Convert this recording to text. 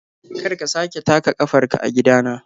Kar ka sake taka kafarka a gidana!